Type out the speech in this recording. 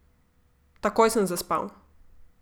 Takoj sem zaspal.